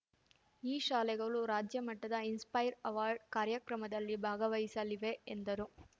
ಈ ಶಾಲೆಗಳು ರಾಜ್ಯಮಟ್ಟದ ಇನ್‌ಸ್ಪೈರ್‌ ಅವಾರ್ಡ್‌ ಕಾರ್ಯಕ್ರಮದಲ್ಲಿ ಭಾಗವಹಿಸಲಿವೆ ಎಂದರು